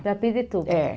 Para Pirituba. É